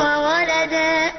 وَوَلَدًا